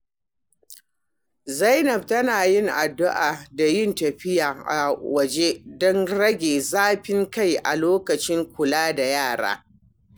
Zainab tana yin addu’a da yin tafiya a waje don rage zafin kai a lokacin kula da yara.